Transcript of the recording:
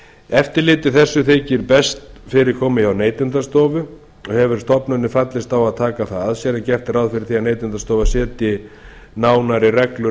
eftirliti þessu þykir best fyrir komið hjá neytendastofu og hefur stofnunin fallist á að taka það að sér en gert er ráð fyrir því að neytendastofa setji nánari reglur